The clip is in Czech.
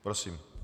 Prosím.